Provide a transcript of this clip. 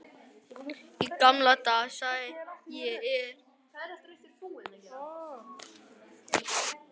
Í gamla daga, segi ég og bít í kjötlausan hamborgarann.